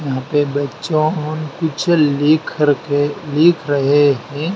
यहाँ पे बच्चों पीछे लिख रखे लिख रहे है।